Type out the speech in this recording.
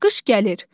Qış gəlir.